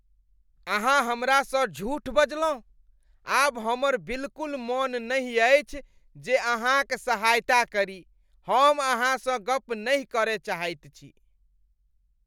अहाँ हमरासँ झूठ बजलहुँ, आब हमर बिलकुल मन नहि अछि जे अहाँक सहायता करी , हम अहाँसँ गप नहि करय चाहैत छी।